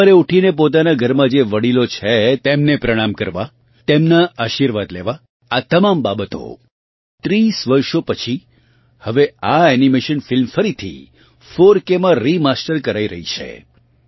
સવારે ઉઠીને પોતાના ઘરનાં જે વડીલો છે તેમને પ્રણામ કરવું તેમનાં આશીર્વાદ લેવા આ તમામ બાબતો 30 વર્ષો પછી હવે આ એનિમેશન ફિલ્મ ફરીથી 4k માં રીમાસ્ટર કરાઈ રહી છે